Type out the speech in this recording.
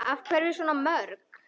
Af hverju svona mörg?